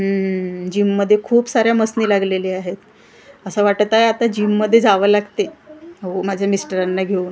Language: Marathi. हम्मम जिम मध्ये खूप साऱ्या मसनी लागलेल्या आहेत असं वाटतं आहे आता जिम मध्ये जाव लागते माझ्या मिस्टरांना घेऊन .]